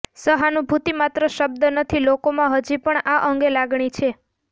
સહાનુભૂતિ માત્ર શબ્દ નથી લોકોમાં હજી પણ આ અંગે લાગણી છે